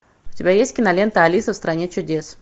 у тебя есть кинолента алиса в стране чудес